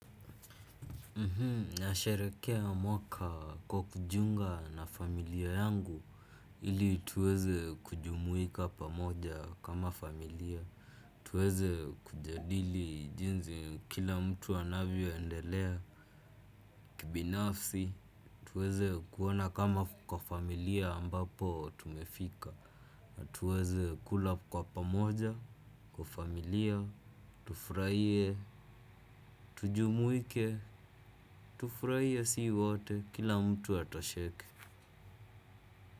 Nasharehekea mwaka kwa kujiunga na familia yangu ili tuweze kujumuika pamoja kama familia. Tuweze kujadili jinsi kila mtu anavyoendelea kibinafsi. Tuweze kuona kama kwa familia ambapo tumefika. Tuweze kula kwa pamoja kwa familia. Tufurahie, tujumuike, tufurahie sisi wote kila mtu atosheke.